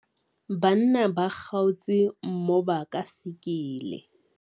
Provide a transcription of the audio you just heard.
banna ba kgaotse mmoba ka sekele